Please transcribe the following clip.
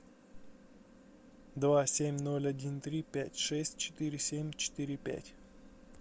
два семь ноль один три пять шесть четыре семь четыре пять